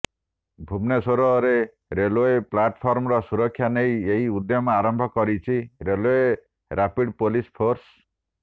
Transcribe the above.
ଭୁବନେଶ୍ୱରରେ ରେଲୱେ ପ୍ଲାଟଫର୍ମର ସୁରକ୍ଷା ନେଇ ଏହି ଉଦ୍ୟମ ଆରମ୍ଭ କରିଛି ରେଲୱେ ରାପିଡ୍ ପୋଲିସ ଫୋର୍ସ